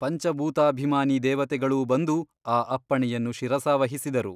ಪಂಚಭೂತಾಭಿಮಾನೀ ದೇವತೆಗಳೂ ಬಂದು ಆ ಅಪ್ಪಣೆಯನ್ನು ಶಿರಸಾವಹಿಸಿದರು.